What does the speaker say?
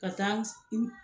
Ka taa in